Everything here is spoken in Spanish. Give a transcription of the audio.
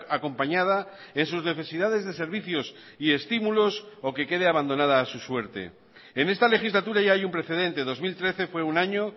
acompañada en sus necesidades de servicios y estímulos o que quede abandonada a su suerte en esta legislatura ya hay un precedente dos mil trece fue un año